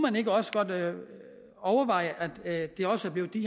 overveje at det også bliver i